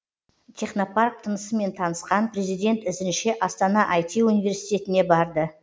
технопарк тынысымен танысқан президент ізінше астана ай ти университетіне барды